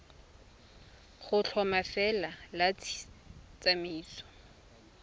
go tlhoma lefelo la tsamaiso